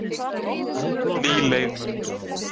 Ný leið mörkuð